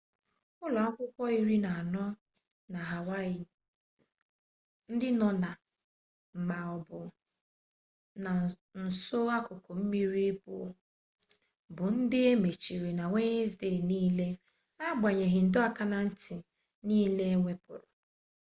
ụlọ akwụkwọ iri na anọ na hawaii ndị nọ na ma ọ bụ na nso akụkụ mmiri bụ ndị e mechiri na wenezdee niile na-agbanyeghị ndọ aka na ntị niile ewepụrụ